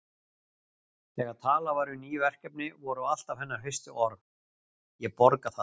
Þegar talað var um ný verkefni voru alltaf hennar fyrstu orð: Ég borga það